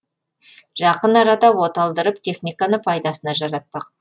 жақын арада оталдырып техниканы пайдасына жаратпақ